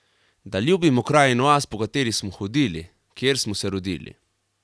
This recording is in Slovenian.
Da ljubimo kraj in vas, po kateri smo hodili, kjer smo se rodili.